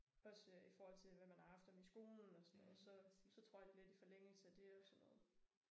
Også øh i forhold til hvad man har haft af om i skolen og sådan noget så så trådte det lidt i forlængelse af det og sådan noget